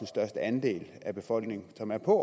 største andel af befolkningen som er på